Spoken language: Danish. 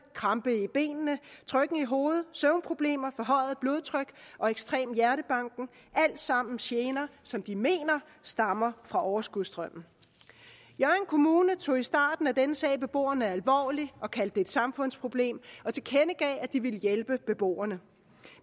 krampe i benene trykken i hovedet søvnproblemer forhøjet blodtryk og ekstrem hjertebanken alt sammen gener som de mener stammer fra overskudsstrømmen hjørring kommune tog i starten af denne sag beboerne alvorligt og kaldte det et samfundsproblem og tilkendegav at de ville hjælpe beboerne